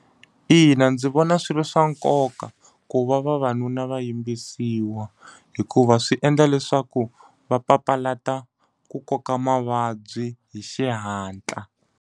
Ina ndzi vona swi ri swa nkoka ku va vavanuna va yimbisiwa, hikuva swi endla leswaku va papalata ku koka mavabyi hi xihatla.